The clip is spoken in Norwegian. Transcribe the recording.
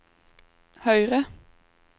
høyre